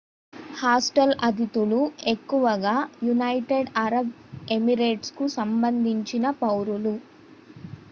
hostel అతిథులు ఎక్కువగా United Arab ఎమిరేట్స్కు సంబంధించిన పౌరులు